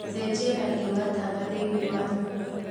cenjia rangi wa tawa thĩini wa nyũmba